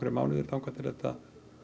mánuðir þangað til þetta